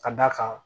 Ka d'a kan